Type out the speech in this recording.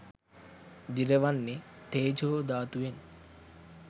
දිරවන්නේ තේජෝ ධාතුවෙන්.